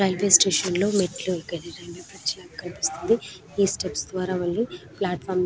railway station లో మేతుల్లు ఎకినట్టు కనిపిస్తుంది ఈ స్టెప్స్ ద్వార మల్లి --